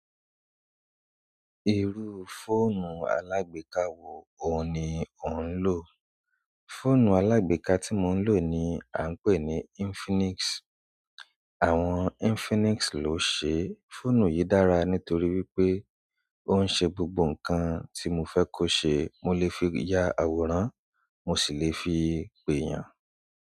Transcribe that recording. Irú fóònù alágbèká wo òun ní o ń lò? Fóònù alágbèká tí mo ń lò ni a ń pè ní Infinix. Àwọn Infinix ló ṣe, fóònù yìí dára nítorí wípé ó ń ṣe gbogbo ǹkan tí mo fe kó ṣe. Mo lè fi ya àwòrán mo sì lè fi pè eeyan.